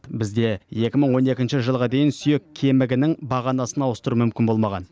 бізде екі мың он екінші жылға дейін сүйек кемігінің бағанасын ауыстыру мүмкін болмаған